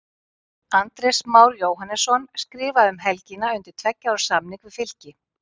Andrés Már Jóhannesson skrifaði um helgina undir tveggja ára samning við Fylki.